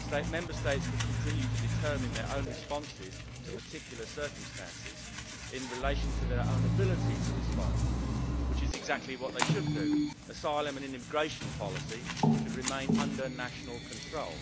Member States could continue to determine their own responses to particular circumstances in relation to their own ability to respond, which is exactly what they should do. Asylum and immigration policy should remain under national control.